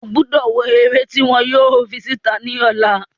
Ogbọ́do wo eré tí wọn yóò fi sí ìta ní ọ̀la